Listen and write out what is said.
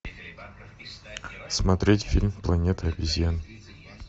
смотреть фильм планета обезьян